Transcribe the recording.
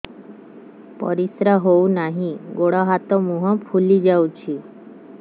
ପରିସ୍ରା ହଉ ନାହିଁ ଗୋଡ଼ ହାତ ମୁହଁ ଫୁଲି ଯାଉଛି